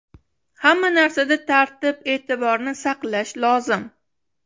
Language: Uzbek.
Hamma narsada tartib-e’tiborni saqlash lozim.